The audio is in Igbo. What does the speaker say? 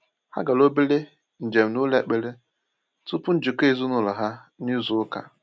Ha gara obere njem n’ụlọ ekpere tupu njikọ ezinụlọ ha n’izu ụka.